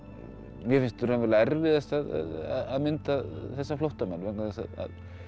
mér finnst erfiðast að mynda þessa flóttamenn vegna þess að